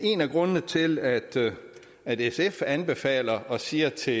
grundene til at at sf anbefaler at sige til